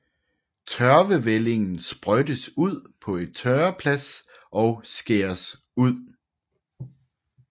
Tørvevællingen sprøjtes ud på tørreplads og skæres ud